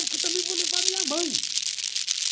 Porque eu também vou levar minha mãe.